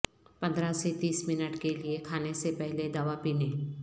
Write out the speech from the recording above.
پندرہ سے تیس منٹ کے لئے کھانے سے پہلے دوا پینے